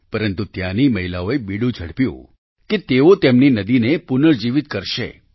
પરંતુ ત્યાંની મહિલાઓએ બીડું ઝડપ્યું કે તેઓ તેમની નદીને પુનઃજીવિત કરશે